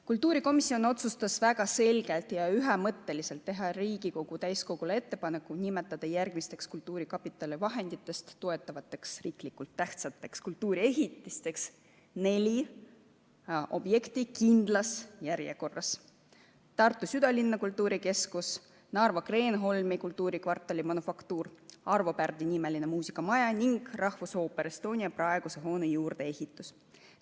Kultuurikomisjon otsustas väga selgelt ja ühemõtteliselt teha Riigikogu täiskogule ettepaneku nimetada järgmisteks kultuurkapitali vahenditest toetatavateks riiklikult tähtsateks kultuuriehitisteks neli objekti, kindlas järjekorras: Tartu südalinna kultuurikeskus, Narva Kreenholmi kultuurikvartal Manufaktuur, Arvo Pärdi nimeline muusikamaja Rakveres ning rahvusooper Estonia praeguse hoone juurdeehitus.